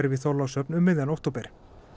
í Þorlákshöfn um miðjan október